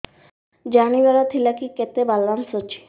ଜାଣିବାର ଥିଲା କି କେତେ ବାଲାନ୍ସ ଅଛି